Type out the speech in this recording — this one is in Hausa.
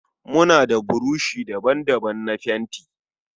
Muna da burushi daban-daban na fenti.